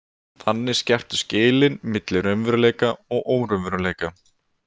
Þannig skerptust skilin milli raunveruleika og óraunveruleika.